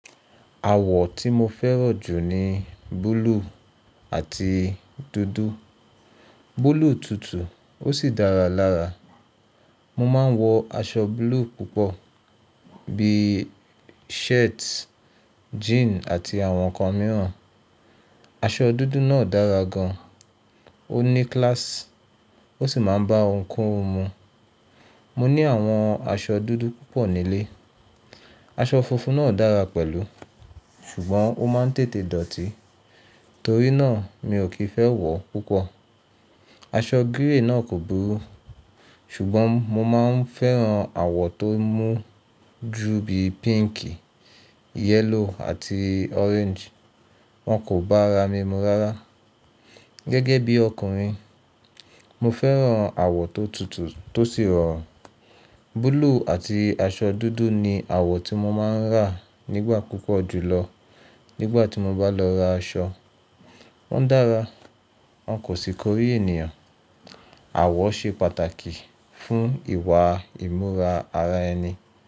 Àwọ̀ tí mo fẹ́ràn jù ni búlúù àti dúdú. Bolúù tutù ó sì dára lára. Mo ma ń wọ aṣọ blúe púpọ̀ bí i shirt, jean àti àwọn ǹkan mìíràn. Aṣọ dúdú náà dára gan an, ó ní class ó sì máa ń bá ohunkóhun mu. Mo ní àwọn aṣọ dúdú púpọ̀ nílé. Aṣọ funfun náà dára pẹ̀lú ṣùgbọ́n ó máa ń tètè dọ̀tí torí náà mi ò kì í fẹ́ wọ̀ púpọ̀. Aṣọ grey náà kò burú ṣùgbọ́n mo máa ń fẹ́ràn àwọ̀ tó mú ju bí i píǹkì, yẹ́lò àti ọ́réńjì. Wọ́n kò bára mi mu rárá. Gẹ́gẹ́ bí ọkùnrin, mo fẹ́ràn àwọ̀ tó tutù tó sì rọ̀run Búlúù àti aṣọ dúdú ni àwọ̀ tí mo máa ń rà nígbà púpọ̀ jùlọ nígbà tí mo bá lọ ra aṣọ. Wọ́n dára, wọ́n kò sì kórí ènìyàn. Àwọ̀ ṣe pàtàkì fún ìwà ìmúra ara ẹni.